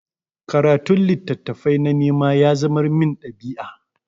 Karatun littattafai na nema ya zamar min ɗabi'a.